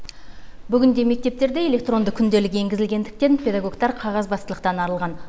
бүгінде мектептерде электронды күнделік енгізілгендіктен педагогтар қағазбастылықтан арылған